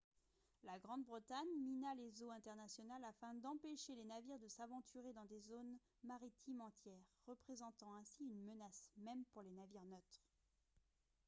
la grande-bretagne mina les eaux internationales afin d'empêcher les navires de s'aventurer dans des zones maritimes entières représentant ainsi une menace même pour les navires neutres